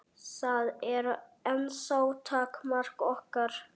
Það er ennþá takmark okkar.